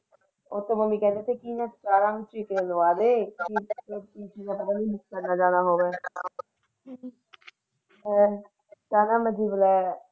Mummy ਕਹਿੰਦੀ ਸੀ ਕੀ ਇਹਨੂੰ ਸਤਰਾਂ ਟੀਕਾ ਲਗਵਾ ਦੇ ਹਮ ਹੋਰ।